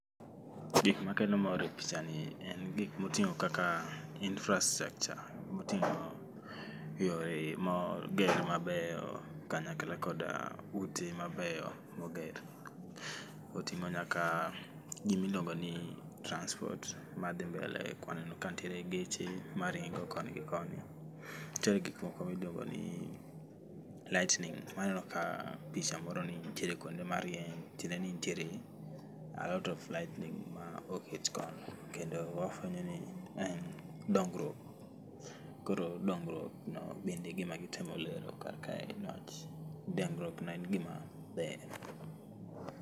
Gik makelo mor e pichani en gik motingo kaka infastructure motingo yore moger mabeyo kanyakla koda ute mabeyo moger, otingo nyaka gimi iluongoni transport madhi mbele kwaneno kantie geche maringo koni gi koni. Nitie gik moko miluongo ni lightning, waneno ka picha moro ni nitiere kuonde ma rieny matiendeni nitiere a lot of lightning moket kono kendo wafwenyo ni ma en dongruok, koro dongruok no ema gitemo lero kar kae niwach dongruok no en gima ber